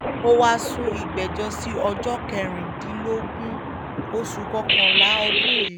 ó wáá sún ìgbẹ́jọ́ sí ọjọ́ kẹrìndínlógún oṣù kọkànlá ọdún yìí